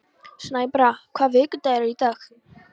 Snæbrá, hvaða vikudagur er í dag?